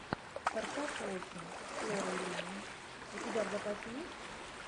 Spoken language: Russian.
форсаж восемь с лорой линни у тебя в запасе есть